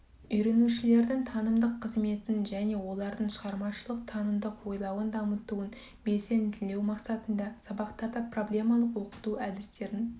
үйренушілердің танымдық қызметін және де олардың шығармашылық танымдық ойлауын дамытуын белсенділеу мақсатында сабақтарда проблемалық оқыту әдістерін